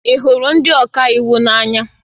Ị hụrụ ndị ọka iwu n'anya?